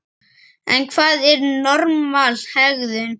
En hvað er normal hegðun?